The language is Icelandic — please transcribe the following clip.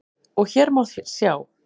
og hér má sjá